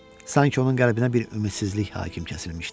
Sanki onun qəlbinə bir ümidsizlik hakim kəsilmişdi.